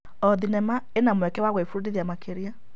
O thenema ĩna mweke wa gwĩbundithia makĩria.